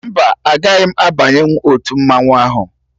Mba, agaghị m abanyenwu otu mmanwụ ahụ